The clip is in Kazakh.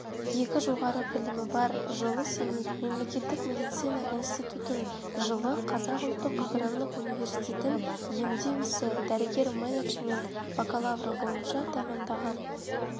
екі жоғары білімі бар жылы семейдің мемлекеттік медицина институтын жылы қазақ ұлттық аграрлық университетін емдеу ісі дәрігер менеджмент бакалавры бойынша тәмамдаған